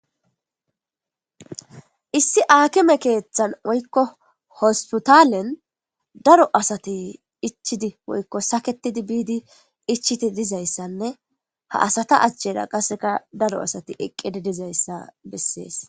Issi aakime keeththan woykko hospitalen daro asati ichidi woykko saketidi biidi ichiti dizayssanne ha asata achchera qasseka daro asati eqqedi dizayssa bessees.